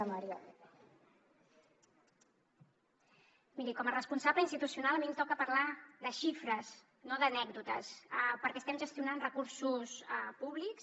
miri com a responsable institucional a mi em toca parlar de xifres no d’anècdotes perquè estem gestionant recursos públics